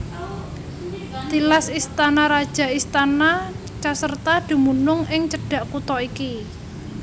Tilas istana raja istana Caserta dumunung ing cedhak kutha iki